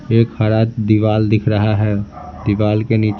एक हरा दीवार दिख रहा है दीवार के नीचे--